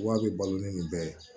Wa bɛ balo ni nin bɛɛ ye